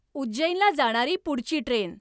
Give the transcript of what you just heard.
उज्जैनला जाणारी पुढची ट्रेन